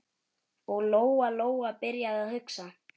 Og Lóa-Lóa byrjaði að hugsa.